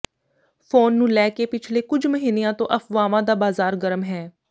phone ਨੂੰ ਲੈ ਕੇ ਪਿਛਲੇ ਕੁਝ ਮਹੀਨਿਆਂ ਤੋਂ ਅਫਵਾਹਾਂ ਦਾ ਬਾਜ਼ਾਰ ਗਰਮ ਹੈ